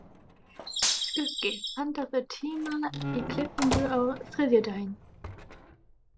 Skuggi, pantaðu tíma í klippingu á þriðjudaginn.